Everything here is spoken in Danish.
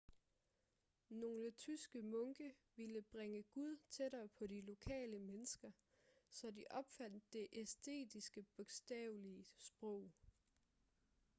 nogle tyske munke ville bringe gud tættere på de lokale mennesker så de opfandt det estiske bogstavelige sprog